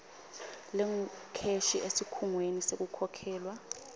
lengukheshi esikhungweni sekukhokhelwa